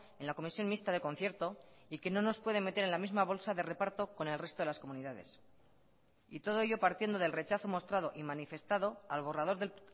en la comisión mixta de concierto y que no nos puede meter en la misma bolsa de reparto con el resto de las comunidades y todo ello partiendo del rechazo mostrado y manifestado al borrador del